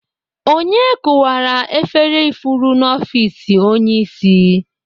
Onye kụwara efere ifuru n'ọfiks onye isi?